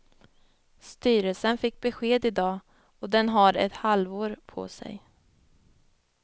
Styrelsen fick besked i dag och den har ett halvår på sig.